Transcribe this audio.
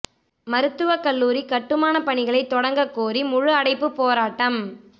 மருத்துவக் கல்லூரி கட்டுமானப் பணிகளை தொடங்கக் கோரி முழு அடைப்புப் போராட்டம்